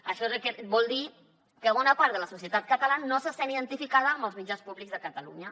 això vol dir que bona part de la societat catalana no se sent identificada amb els mitjans públics de catalunya